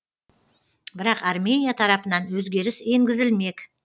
бірақ армения тарапынан өзгеріс енгізілмек